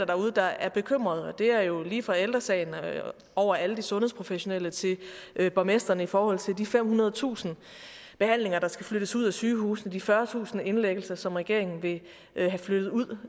derude der er bekymrede og det er jo lige fra ældre sagen over alle de sundhedsprofessionelle til borgmestrene i forhold til de femhundredetusind behandlinger der skal flyttes ud af sygehusene de fyrretusind indlæggelser som regeringen vil have flyttet ud